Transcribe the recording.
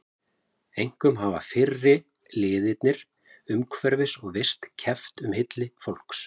Einkum hafa fyrri liðirnir umhverfis- og vist- keppt um hylli fólks.